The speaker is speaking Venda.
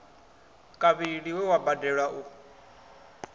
kavhili we wa badelwa u